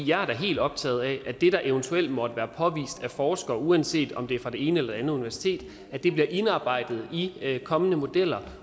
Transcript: jeg er da helt optaget af at det der eventuelt måtte være påvist af forskere uanset om det er fra det ene eller det andet universitet bliver indarbejdet i kommende modeller